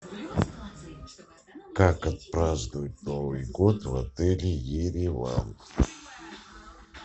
как отпраздновать новый год в отеле ереван